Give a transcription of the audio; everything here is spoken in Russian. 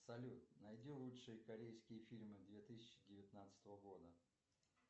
салют найди лучшие корейские фильмы две тысячи девятнадцатого года